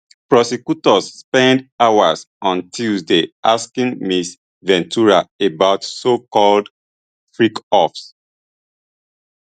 prosecutors spend hours on tuesday asking ms ventura about socalled freakoffs